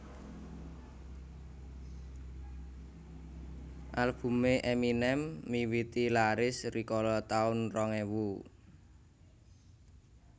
Albume Eminem miwiti laris rikala taun rong ewu